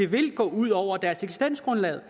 vil gå ud over deres eksistensgrundlag